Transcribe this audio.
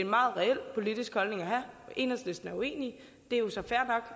meget reel politisk holdning at have enhedslisten er uenig det er jo så fair